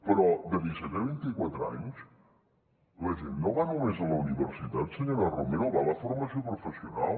però de disset a vint i quatre anys la gent no va només a la universitat senyora romero va a la formació professional